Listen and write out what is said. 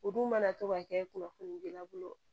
O dun mana to ka kɛ kunnafoni di i bolo